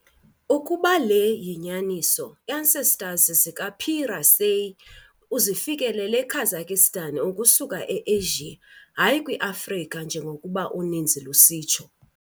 Ukuba le yinyaniso, ancestors ka - "P. raceyi" uzifikelele eKazakhstan ukusuka e-Asia, hayi kwi-Afrika njengokuba uninzi lusitsho